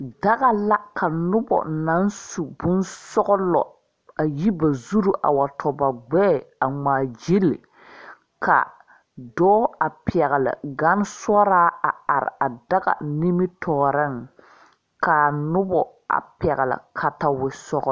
Daga la ka nuba nang su bunsɔglɔ ayi ba zuri a wa tɔ ba gbeɛɛ a ngmaa gyili ka doɔ a pɛgli gan soɔraa a arẽ a daga ningmetouring kaa nuba pɛgli katawisɔglo.